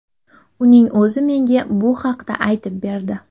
Uning o‘zi menga bu haqda aytib berdi.